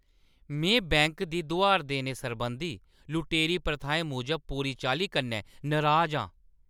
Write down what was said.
में बैंक दी दुहार देने सरबंधी लुटेरी प्रथाएं मूजब पूरी चाल्ली कन्नै नराज आं।